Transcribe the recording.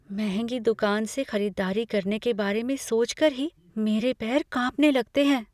महंगी दुकान से खरीदारी करने के बारे में सोच कर ही मेरे पैर कांपने लगते हैं।